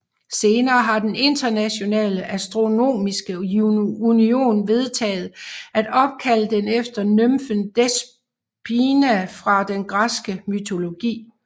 Senere har den Internationale Astronomiske Union vedtaget at opkalde den efter nymfen Despina fra den græske mytologi